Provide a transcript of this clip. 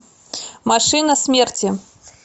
машина смерти